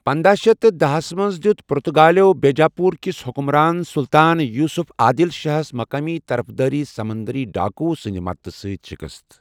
پنداہ شیتھ تہٕ داہ ہس منز دِیوٗت پرتگالٮ۪و بیجا پوُر كِس حٗكمران سُلطان یوسف عادل شاہس مقٲمی طرفداری سمندری ڈاكو سٕندِ مدتہٕ سۭتۍ شِكست ۔